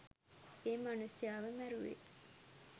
ඒ මනුස්සයාව මැරුවේ.